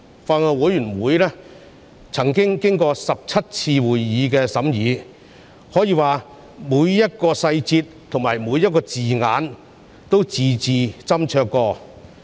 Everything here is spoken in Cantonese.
法案委員會曾召開17次會議進行審議，可說每個細節及字眼均字字斟酌。